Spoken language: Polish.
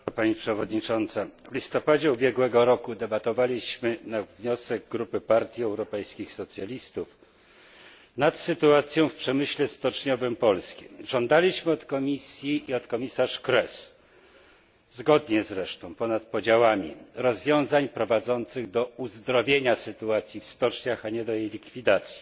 Pani przewodnicząca! W listopadzie ubiegłego roku debatowaliśmy na wniosek grupy Partii Europejskich Socjalistów nad sytuacją w polskim przemyśle stoczniowym. Żądaliśmy od Komisji i od komisarz Kroes, zresztą zgodnie i ponad podziałami, rozwiązań prowadzących do uzdrowienia sytuacji w stoczniach, a nie do jej likwidacji.